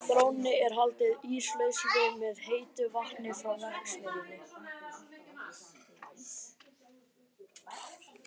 Þrónni er haldið íslausri með heitu vatni frá verksmiðjunni.